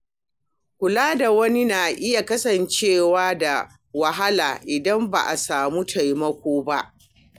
Kula da wani na iya kasancewa da wahala idan ba a sami taimako ba.